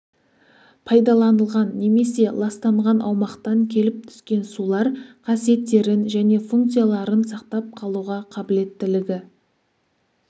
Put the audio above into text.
пайдаланылған немесе ластанған аумақтан келіп түскен сулар қасиеттерін және функцияларын сақтап қалуға қабілеттілігі